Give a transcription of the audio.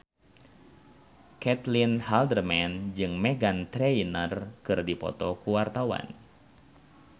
Caitlin Halderman jeung Meghan Trainor keur dipoto ku wartawan